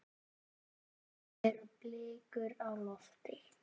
Nú eru blikur á lofti.